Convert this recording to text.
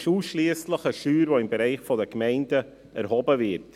Es ist ausschliesslich eine Steuer, welche im Bereich der Gemeinden erhoben wird.